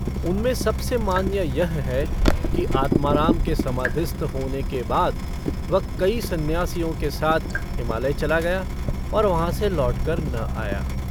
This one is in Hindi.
उनमें सबसे मान्य यह है कि आत्माराम के समाधिस्थ होने के बाद वह कई सन्यासियों के साथ हिमालय चला गया और वहाँ से लौटकर न आया।